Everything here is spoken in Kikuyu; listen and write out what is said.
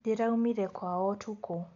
Ndĩraumire kwao ũtukũ